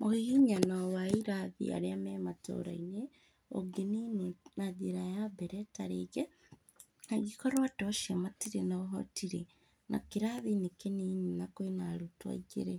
Mũhihinyano wa irathi arĩa me matũra-inĩ, ũngĩnini na njĩra ya mbere ta rĩngĩ, angĩkorwo andũ acio matirĩ na ũhoti rĩ, na kĩrathi nĩ kĩnini na kwĩna arutwo aingĩ rĩ,